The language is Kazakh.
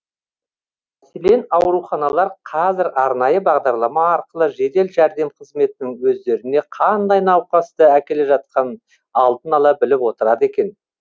мәселен ауруханалар қазір арнайы бағдарлама арқылы жедел жәрдем қызметінің өздеріне қандай науқасты әкеле жатқанын алдын ала біліп отырады екен